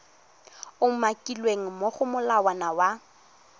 umakilweng mo go molawana wa